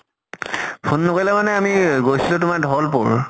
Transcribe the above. phone নকৰিলে মানে আমি গৈছিলো তোমাৰ ঢ্ৱল্পুৰ।